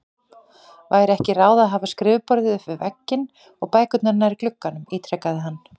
Væri ekki ráð að hafa skrifborðið upp við vegginn og bækurnar nær glugganum? ítrekaði hann.